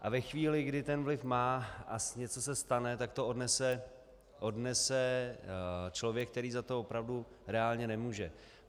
A ve chvíli, kdy ten vliv má a něco se stane, tak to odnese člověk, který za to opravdu reálně nemůže.